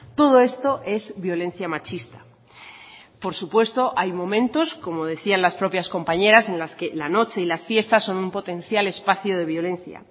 todo esto es violencia machista por supuesto hay momentos como decían las propias compañeras en las que la noche y las fiestas son un potencial espacio de violencia